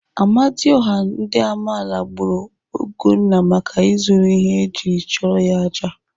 Amadioha ndị Amaala gburu Ugonna maka izuru ihe ejiri chụọrọ ya àjà.